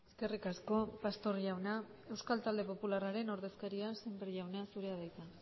eskerrik asko pastor jauna euskal talde popularraren ordezkaria sémper jauna zurea da hitza